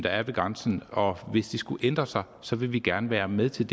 er ved grænsen og hvis det skulle ændre sig så vil vi gerne være med til